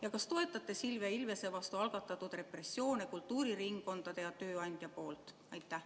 Ja kas te toetate Silvia Ilvese vastu algatatud repressioone kultuuriringkondade ja tööandja poolt?